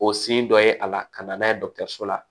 O sin dɔ ye a la ka na n'a ye dɔgɔtɔrɔso la